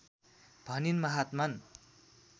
भनिन् महात्मन्